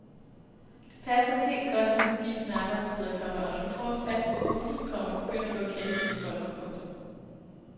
Det passer os helt godt med de skiftende arbejdstider, komma og når du får en fast rute, komma begynder du at kende dine folk. punktum